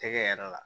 Tɛgɛ yɛrɛ la